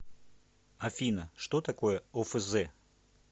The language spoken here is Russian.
афина что такое офз